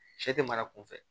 Sɛ tɛ mara kunfɛ